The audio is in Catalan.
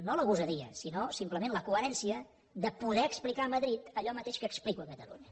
no la gosadia sinó simplement la coherència de poder explicar a madrid allò mateix que explico a catalunya